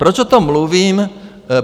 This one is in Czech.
Proč o tom mluvím?